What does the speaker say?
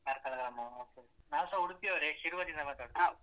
ಕಾರ್ಕಳ ಗ್ರಾಮವಾ okay ನಾವುಸಾ ಉಡುಪಿ ಅವ್ರೆ ಶಿರ್ವದಿಂದ ಮಾತಾಡುದು.